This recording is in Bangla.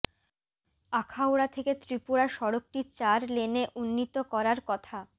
আখাউড়া থেকে ত্রিপুরা সড়কটি চার লেনে উন্নীত করার কথা